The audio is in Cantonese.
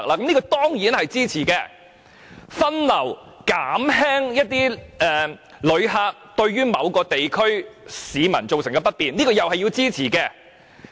"藉着更好的分流減輕旅客給市民帶來的不便"，這也是要支持的。